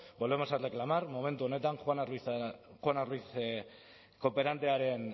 volvemos a reclamar momentu honetan juana ruiz kooperantearen